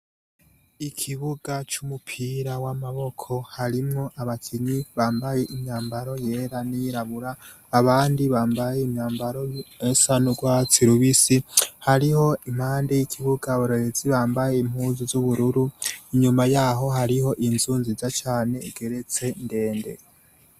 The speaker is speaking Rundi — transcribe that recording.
Ikibuga c'umupira w'amaboko, harimwo abakinyi bambaye imyambaro yera n'iyirabura. Abandi bambaye imyambaro isa n'urwatsi rubisi. Hariho impande y'ikibuga abarorerezi bambaye impuzu z'ubururu. Inyuma y'aho, hariho inzu nziza cane igeretse ndende.